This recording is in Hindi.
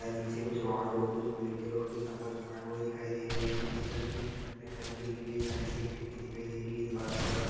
नीचे कुछ रॉड और कुछ प्लेटे और कुछ डंबल्स पड़े हुए दिखाई दे रहे है नीचे का सीट ब्लैक कलर की दिख रही है साइड से एक खिड़की दिखाई दे रही है दीवार का कलर कुछ --